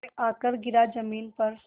आकर गिरा ज़मीन पर